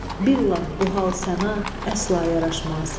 Billah bu hal sənə əsla yaraşmaz.